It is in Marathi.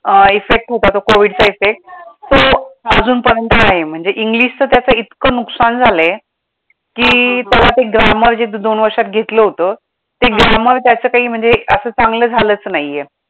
अं effect होता तो COVID चा effect तर अजून पर्यंत आहे, म्हणजे english त्याचं इतकं नुकसान झालंय, की त्याला ते grammar जे दोन वर्षात घेतलं होतं ते grammar त्याचं काय म्हणजे असं चांगलं झालंच नाहीये.